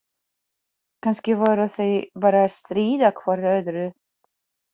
Kannski voru þau bara að stríða hvort öðru.